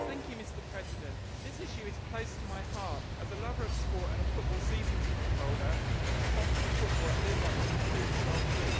Mr President, this issue is close to my heart, as a lover of sport and a football season ticket holder and sponsor of football at all levels, including grassroots.